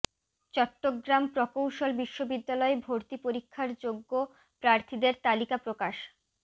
চট্টগ্রাম প্রকৌশল বিশ্ববিদ্যালয় ভর্তি পরীক্ষার যোগ্য প্রার্থীদের তালিকা প্রকাশ